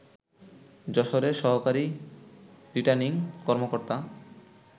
যশোরের সহকারী রিটার্নিং কর্মকর্তা